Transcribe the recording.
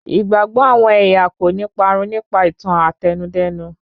Ìgbàgbọ àwọn ẹ̀yà kòní parun nípa ìtàn Àtẹnudẹ́nu.